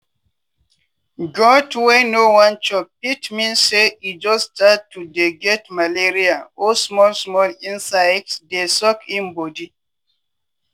goat wey no wan chop fit mean say e just start to dey get malaria or small small insect dey suck im body.